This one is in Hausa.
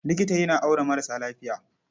Likita yana auna maras lafiya.